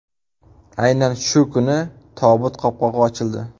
Aynan shu kuni tobut qopqog‘i ochildi.